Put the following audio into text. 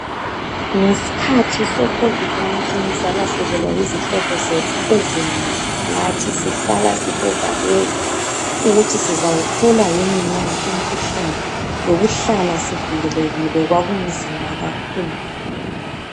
Ngesikhathi se COVID-19 salahlekelwa yizihlobo zethu ezinengi. Lathi sihlala sisevalweni ukuthi sizawuthola yini na umkhuhlane, lokuhlala sivikelekile kwakunzima kakhulu.